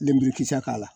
Lenburukisɛ k'a la